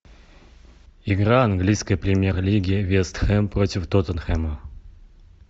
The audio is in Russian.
игра английской премьер лиги вест хэм против тоттенхэма